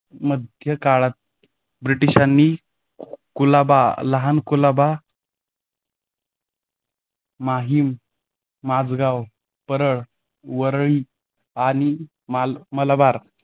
मध्ये काळात ब्रिटिशांनी कुलाबा लहान कुलाबा माहीम, माजगाव, परळ, वरई आणि मलाबार